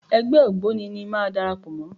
Ẹgbẹ́ ògbóni ni màá darapọ̀ mọ́.